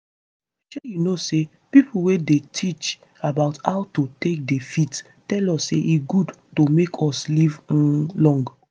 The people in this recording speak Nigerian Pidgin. shey you know say pipo wey dey teach about how to take dey fit tell us say e good to make us live um long.